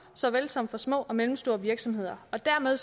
såvel som for små og mellemstore virksomheder dermed